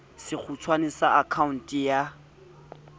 sekgutshwane sa akha onte ya